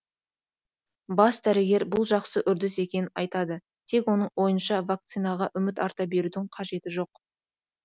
бас дәрігер бұл жақсы үрдіс екенін айтады тек оның ойынша вакцинаға үміт арта берудің қажеті жоқ